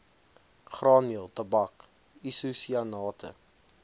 graanmeel tabak isosianate